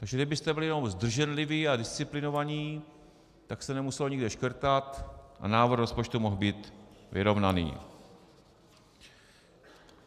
Takže kdybyste byli jenom zdrženliví a disciplinovaní, tak se nemuselo nikde škrtat a návrh rozpočtu mohl být vyrovnaný.